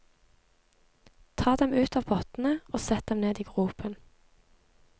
Ta dem ut av pottene og sett dem ned i gropen.